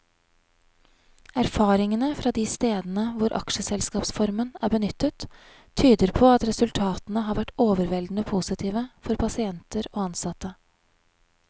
Erfaringene fra de stedene hvor aksjeselskapsformen er benyttet, tyder på at resultatene har vært overveldende positive for pasienter og ansatte.